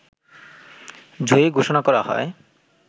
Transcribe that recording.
জয়ী ঘোষণা করা হয়